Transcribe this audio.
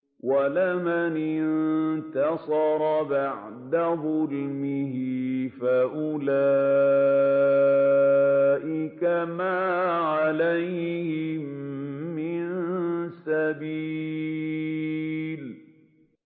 وَلَمَنِ انتَصَرَ بَعْدَ ظُلْمِهِ فَأُولَٰئِكَ مَا عَلَيْهِم مِّن سَبِيلٍ